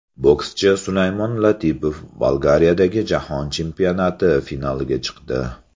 Bokschi Sulaymon Latipov Bolgariyadagi jahon chempionati finaliga chiqdi.